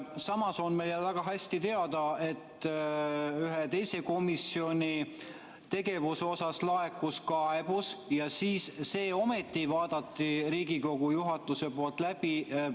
Samas on meile väga hästi teada, et ühe teise komisjoni tegevuse kohta laekus kaebus ja selle vaatas Riigikogu juhatus ometi läbi.